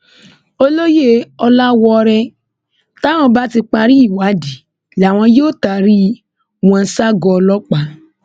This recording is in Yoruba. olóye ọlàwọọrẹ táwọn bá ti parí ìwádìí làwọn yóò taari wọn ṣagọọ ọlọpàá